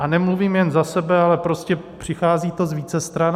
A nemluvím jen za sebe, ale prostě přichází to z více stran.